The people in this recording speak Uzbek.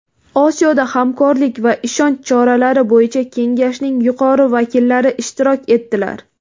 Osiyoda hamkorlik va ishonch choralari bo‘yicha kengashning yuqori vakillari ishtirok etdilar.